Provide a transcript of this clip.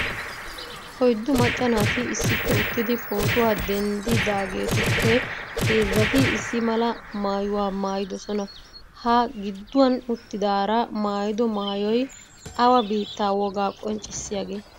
oyddu macca naati issippe uttidi pootuwa denddidaagetuppe heezzati issi mala maayuwa maayidoosona, ha giduwan uttidaara maayido maayoy awa biitta wogaa qoncissiyaagee?